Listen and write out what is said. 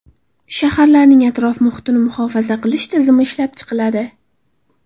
Shaharlarning atrof-muhitini muhofaza qilish tizimi ishlab chiqiladi.